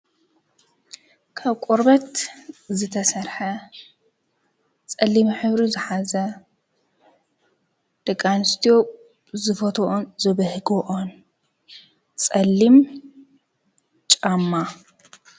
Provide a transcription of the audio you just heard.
ካብ ቆርቦት ዝተሰርሐ ፀሊም ሕብሪ ዝሓዘ ደቂ ኣንስትዮ ዝፈትዎኦን ዝብህጎኦን ፀሊም ጫማ ?